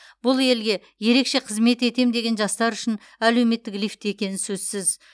бұл елге ерекше қызмет етем деген жастар үшін әлеуметтік лифт екені сөзсіз